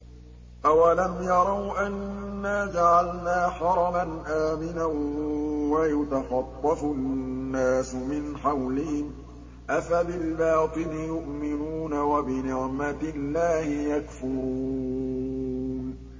أَوَلَمْ يَرَوْا أَنَّا جَعَلْنَا حَرَمًا آمِنًا وَيُتَخَطَّفُ النَّاسُ مِنْ حَوْلِهِمْ ۚ أَفَبِالْبَاطِلِ يُؤْمِنُونَ وَبِنِعْمَةِ اللَّهِ يَكْفُرُونَ